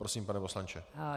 Prosím, pane poslanče.